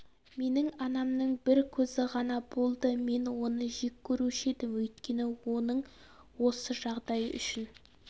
менің анамның бір көзі ғана болды мен оны жек көруші едім өйткені оның осы жағдайы үшін